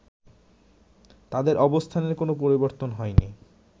তাদের অবস্থানের কোনো পরিবর্তন হয়নি